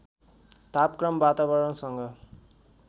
तापक्रम वातावरणसँग